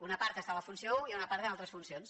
una part està a la funció un i una part en altres funcions